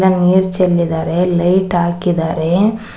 ಅಲ್ಲಿ ನೀರ ಚೆಲ್ಲಿದಾರೆ ಲೈಟ್ ಹಾಕಿದ್ದಾರೆ.